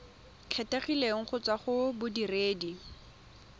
kgethegileng go tswa go bodiredi